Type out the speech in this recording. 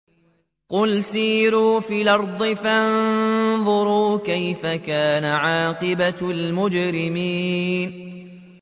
قُلْ سِيرُوا فِي الْأَرْضِ فَانظُرُوا كَيْفَ كَانَ عَاقِبَةُ الْمُجْرِمِينَ